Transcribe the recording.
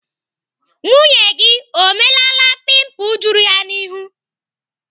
Nwunye gị o melaala pimpul juru ya n'ihu?